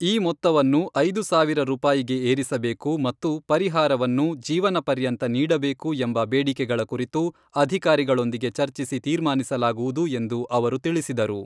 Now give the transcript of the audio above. ಈ ಮೊತ್ತವನ್ನು ಐದು ಸಾವಿರ ರೂಪಾಯಿಗೆ ಏರಿಸಬೇಕು ಮತ್ತು ಪರಿಹಾರವನ್ನು ಜೀವನ ಪರ್ಯಂತ ನೀಡಬೇಕು ಎಂಬ ಬೇಡಿಕೆಗಳ ಕುರಿತು ಅಧಿಕಾರಿಗಳೊಂದಿಗೆ ಚರ್ಚಿಸಿ ತೀರ್ಮಾನಿಸಲಾಗುವುದು ಎಂದು ಅವರು ತಿಳಿಸಿದರು.